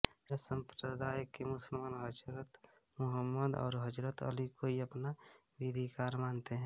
शिया संप्रदाय के मुसलमान हजरत मुहम्मद और हजरत अली को ही अपना विधिकार मानते हैं